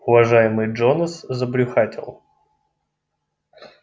уважаемый джонас забрюхатил